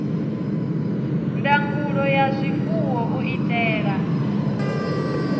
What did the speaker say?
ndangulo ya zwifuwo u itela